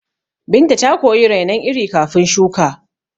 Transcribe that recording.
Binta ta koyi rainon iri kafin shuka